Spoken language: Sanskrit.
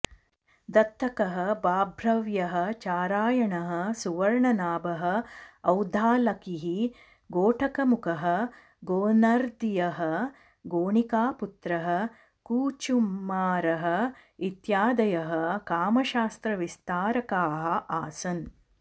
दत्तकः बाभ्रव्यः चारायणः सुवर्णनाभः औद्दालकिः घोटकमुखः गोनर्दीयः गोणिकापुत्रः कूचुमारः इत्यादयः कामशास्त्रविस्तारकाः आसन्